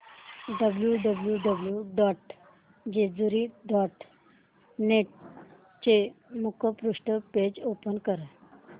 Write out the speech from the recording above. W W W dot Jejuri dot net चे मुखपृष्ठ page open कर